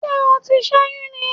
Ṣé o ti sẹ́yún ni?